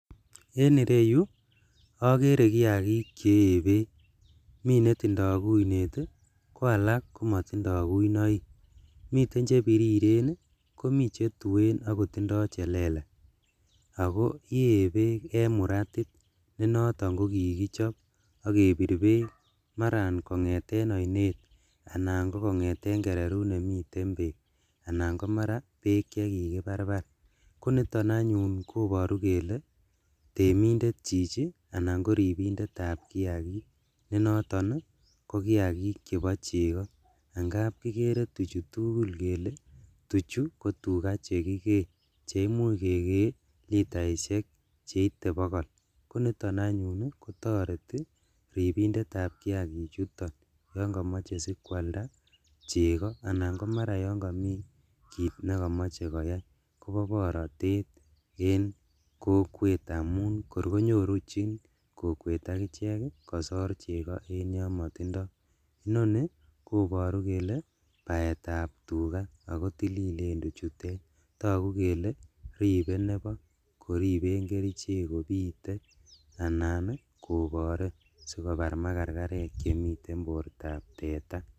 En ireyu okere kiakik chee beek mi netondo kuinet ii ko alak komotindo kuinoik miten chebiriren ii ak komi chetuen ak kotindo chelelach ako yee beek en muratit nenoton kokikichob ak kebir beek kongeten oinet anan kokongeten kererut nemiten beek anan komara beek chekikobarbar, koniton anyun ii koboru kele temindet chichi anan koribindetab kiakik, nenoton kokiakik chebo cheko angap kokere tuchu tugul kele tuchu ko chekikee cheimuch kekee litaishek cheite bogol, koniton anyun kotoreti ribindetab kiakichuton yon komoche sikwalda cheko anan komaran yon komi kit nekomoche koyai kobo borotet en kokwet amun korkonyorjin kokwet akichek kosor cheko en yon motindo, inoni koboru kele baetab tugaa ako tililen tuchutet, togu kele ribe nebo koriben kerichek kobite anan kokore sikobar makarkarek chemiten bortab teta.